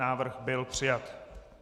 Návrh byl přijat.